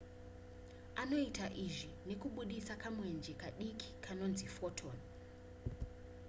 anoita izvi nekubudisa kamwenje kadiki kanonzi ka photon